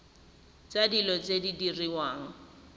tsa dilo tse di diriwang